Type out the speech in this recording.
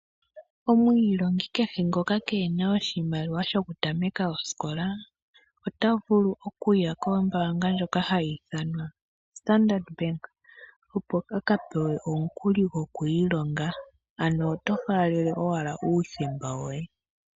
Omwiilongi kehe ngoka keena oshimaliwa shokutameka osikola, otavulu okuya kombaanga ndjoka hayi ithanwa Standard Bank, opo a kapewe omukuli gwokwiilonga. Ano oto faalele owala uuthemba woye.